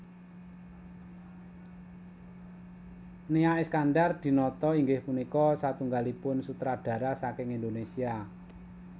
Nia Iskandar Dinata inggih punika satunggalipun sutradara saking Indonesia